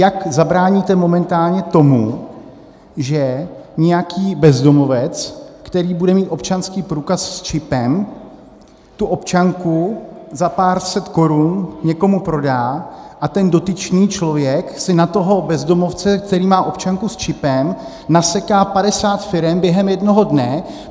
Jak zabráníte momentálně tomu, že nějaký bezdomovec, který bude mít občanský průkaz s čipem, tu občanku za pár set korun někomu prodá a ten dotyčný člověk si na toho bezdomovce, který má občanku s čipem, naseká 50 firem během jednoho dne?